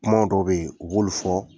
Kumaw dɔ be yen, u b'olu fɔ